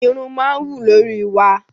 Irun máa ń wù lórí wa.